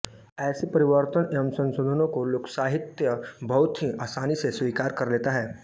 ऐसे परिवर्तनों एवं संशोधनों को लोकसाहित्य बहुत ही आसानी से स्वीकार कर लेता है